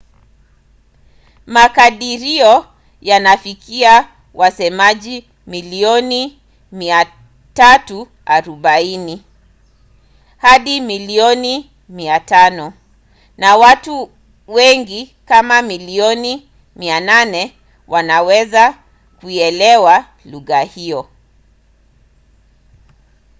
makadirio yanafikia wasemaji milioni 340 hadi milioni 500 na watu wengi kama milioni 800 wanaweza kuielewa lugha hiyo